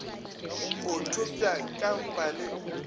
o thopša ka mpa le